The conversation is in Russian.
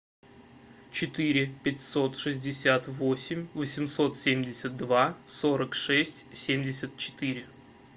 четыре пятьсот шестьдесят восемь восемьсот семьдесят два сорок шесть семьдесят четыре